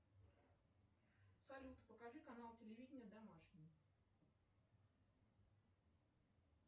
салют покажи канал телевиденья домашний